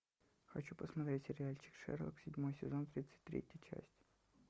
хочу посмотреть сериальчик шерлок седьмой сезон тридцать третья часть